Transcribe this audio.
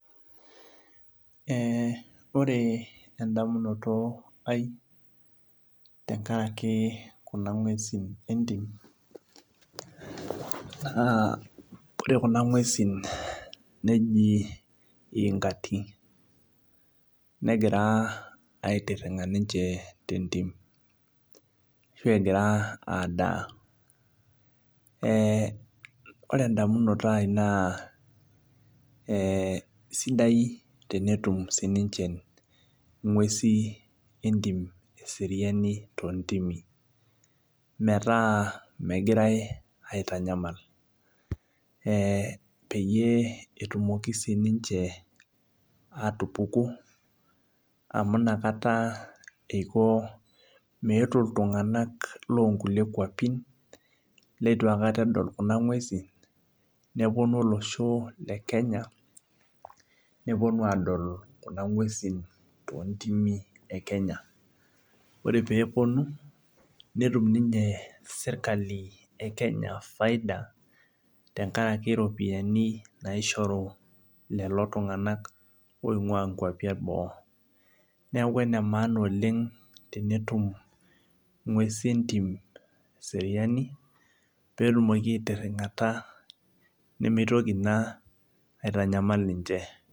Ee ore endamunoto aai tenkaraki kuna ngwesi entim na ore kuna ngwesi neji iingati negira aitiring a ninche tentim ashu egira adaa ore endamunoto aai na sidai tenetum ninche ngwesi eseriani tontimi metaa megirai aitanyamal peyie etumoki ninche atupuku amu nakata eiko meetu ltunganak longulie kwapi lituakata edil kuna ngwesi neponu olosho le Kenya neponu adol kuna ngwesi tontimi ekenya ore peponunetum ninye serkali ekenya faida tenkaraki ropiyani naishoru lolotunganak oingua nkwapi eboo neaku enemaana oleng tenetum ngwesi entim eseriani petumoki aitiringata nemeitoki na aitanyamal ninche.